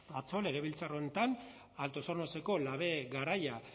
atzo legebiltzar honetan altos hornoseko labe garaia